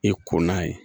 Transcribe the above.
I ko n'a ye